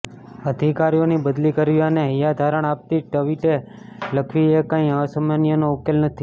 અધિકારીઓની બદલી કરવી અને હૈયાધારણ આપતી ટવિટે લખવી એ કંઈ આ સમસ્યાનો ઉકેલ નથી